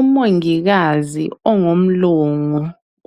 Umongikazi ongumlungu